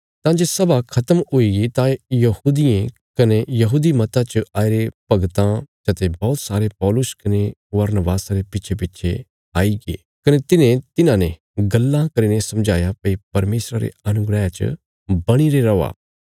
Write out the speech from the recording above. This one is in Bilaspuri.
तां जे सभा खत्म हुईगी तां यहूदियें कने यहूदी मता च आईरे भगतां चते बौहत सारे पौलुस कने बरनबासा रे पिच्छेपिच्छे आईगे कने तिन्हें तिन्हांने गल्लां करीने समझाया भई परमेशरा रे अनुग्रह च बणीरे रौआ